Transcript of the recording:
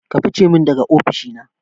Ka fice min daga ofishi na